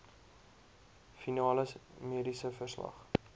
finale mediese verslag